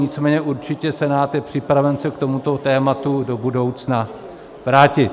Nicméně určitě Senát je připraven se k tomuto tématu do budoucna vrátit.